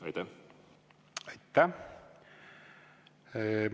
Aitäh!